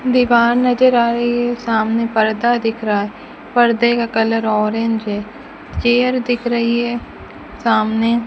दीवार नजर आ रही है सामने पर्दा दिख रहा है पर्दे का कलर ऑरेंज है चेयर दिख रही है सामने --